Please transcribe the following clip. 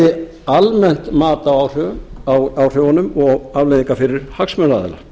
bæði almennt mat á áhrifunum og afleiðingunum fyrir hagsmunaaðila